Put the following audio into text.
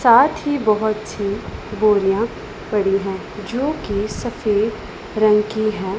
साथ ही बहोतसी बोरियां पड़ी हैं जो की सफेद रंग की हैं।